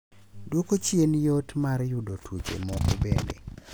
Duoko chien yot mar yudo tuoche moko bende.